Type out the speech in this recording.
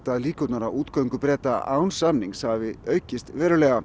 að líkurnar á útgöngu án samnings hafi aukist verulega